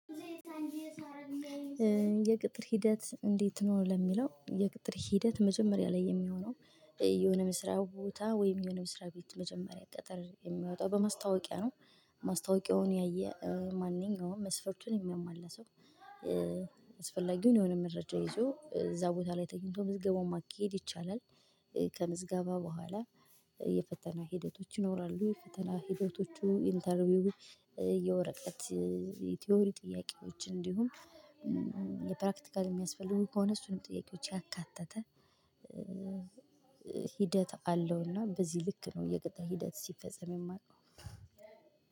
የቅጥር ሂደት እንዴት ነው? ለሚለው የቅጥር ሂደት መጀመሪያ ላይ የሚሆነው የሆነ መስሪያ ቦታ ወይም የሆነ መስሪያ ቤት መጀመሪያ ቅጥር የሚወጣው በማስታወቂያ ነው። ማስታወቂያውን ያየ ማንኛውም መስፈርችን የሚያሟላ ሰው አስፈላጊውን የሆነ መረጃ ይዞ እዛ ቦታ ላይ ተኝቶ ምዝገባውን ማኬድ ይቻላል። ከምዝገባ በኋላ የፈተና ሂደቶች ይኖራሉ። ፈተና ሂደቶቹ ኢንተርቪው የወረቀት የቲዮሪ ጥያቄዎች እንዲሁም የፕራክቲካል የሚያስፈልጉን ከሆነ እሱንም ጥያቄዎች ያካተተ። ሂደት አለውና በዚህ ልክ ነው የቀጠለ ሂደት ሲፈጸም የማረገው